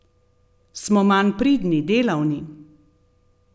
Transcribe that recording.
Smo manj pridni, delavni?